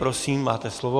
Prosím, máte slovo.